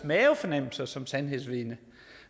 mavefornemmelser som sandhedsvidne